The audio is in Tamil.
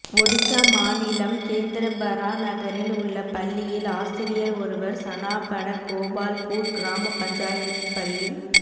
ஒடிஷா மாநிலம் கேந்திரபரா நகரில் உள்ள பள்ளியில் ஆசிரியர் ஒருவர் சனாபட கோபால்பூர் கிராம பஞ்சாயத் பள்ளிக்